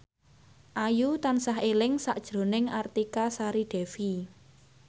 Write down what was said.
Ayu tansah eling sakjroning Artika Sari Devi